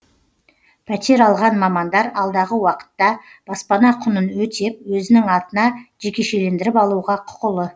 пәтер алған мамандар алдағы уақытта баспана құнын өтеп өзінің атына жекешелендіріп алуға құқылы